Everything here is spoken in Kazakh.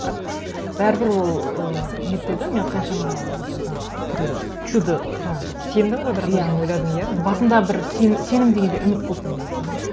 бірақ бәрібір ол ыыы нетпеді мен қаншама жаңағы түрлі чудо жаңағы сендің ғой бірақ өзің ойладың иә мүмкін басында бір сенім дегенде үміт болды менде